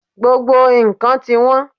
Gbogbo nǹkan ni tiwọn